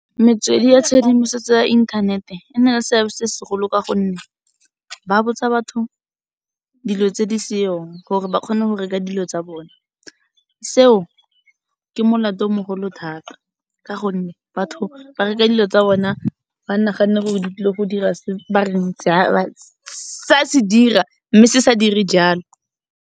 Metswedi ya tshedimosetso ya internet-e, enale seabe se se golo ka gonne, ba botsa batho dilo tse di seong gore ba kgone go reka dilo tsa bone, se o ke molato o mogolo thata ka gonne batho ba reka dilo tsa bone ba naganne gore di tlile go dira se bareng se ya se dira, mme se sa dire jalo.